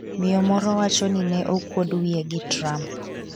Miyo moro wacho ni ne okuod wiye gi Trump